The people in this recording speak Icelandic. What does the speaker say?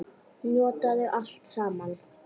Notaðu allt saman.